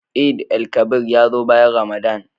Eid_el Kabir ya zo bayan Ramadan.